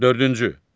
Dördüncü.